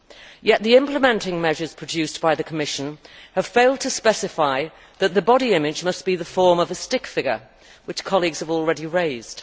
Yet the implementing measures produced by the Commission have failed to specify that the body image must be in the form of a stick figure, which colleagues have already raised.